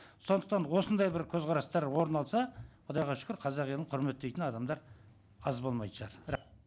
сондықтан осындай бір көзқарастар орын алса құдайға шүкір қазақ елін құрметтейтін адамдар аз болмайтын шығар